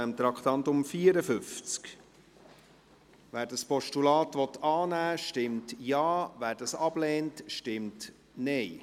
Wer das Postulat annehmen will, stimmt Ja, wer es ablehnt, stimmt Nein.